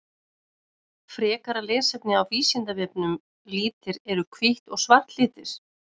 Frekara lesefni á Vísindavefnum Litir Eru hvítt og svart litir?